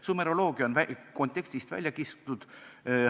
Sumeroloogia on antud juhul kontekstist välja kistud.